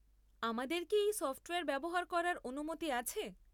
আমাদের কি এই সফ্টওয়্যার ব্যবহার করার অনুমতি আছে?